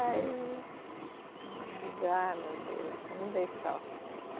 Aí. Eu digo ah, meu Deus, não dei sorte.